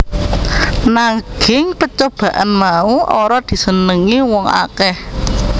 Nagging pecobaan mau ora disenengi wong akeh